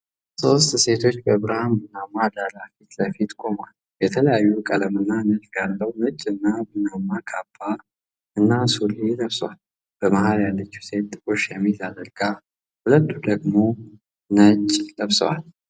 ሶስት ሴቶች በብርሃን ቡናማ ዳራ ፊት ለፊት ቆመዋል። የተለያየ ቀለምና ንድፍ ያለው ነጭ እና ቡናማ ካባ እና ሱሪ ለብሰዋል። በመሃል ያለችው ሴት ጥቁር ሸሚዝ አድርጋ፤ ሁለቱ ደግሞ ነጭ ለብሰዋል።